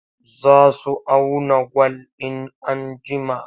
Za su auna gwal. in an jima